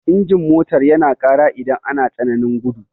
Injin motar yana ƙara idan ana tsananin gudu.